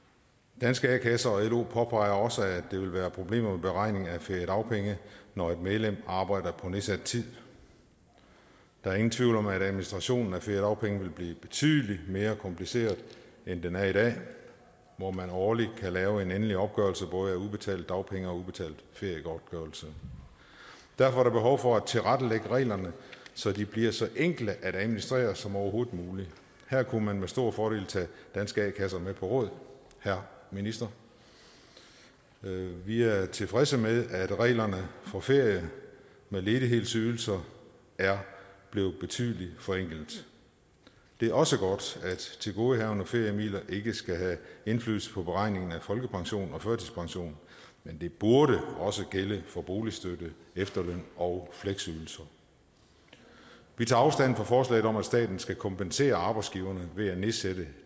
danske a kasser og lo påpeger også at der vil være problemer med beregning af feriedagpenge når et medlem arbejder på nedsat tid der er ingen tvivl om at administrationen af feriedagpenge vil blive betydelig mere kompliceret end den er i dag hvor man årligt kan lave en endelig opgørelse af både udbetalte dagpenge og udbetalt feriegodtgørelse derfor er der behov for at tilrettelægge reglerne så de bliver så enkle at administrere som overhovedet muligt her kunne man med stor fordel tage danske a kasser med på råd herre minister vi er tilfredse med at reglerne for ferie med ledighedsydelse er blevet betydelig forenklet det er også godt at tilgodehavende feriemidler ikke skal have indflydelse på beregningen af folkepension og førtidspension men det burde også gælde for boligstøtte efterløn og fleksydelse vi tager afstand fra forslaget om at staten skal kompensere arbejdsgiverne ved at nedsætte